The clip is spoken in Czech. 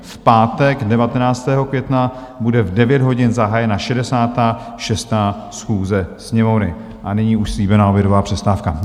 V pátek 19. května bude v 9 hodin zahájena 66. schůze Sněmovny A nyní už slíbená obědová přestávka.